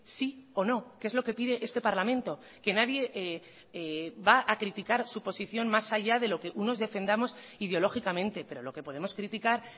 sí o no que es lo que pide este parlamento que nadie va a criticar su posición más allá de lo que unos defendamos ideológicamente pero lo que podemos criticar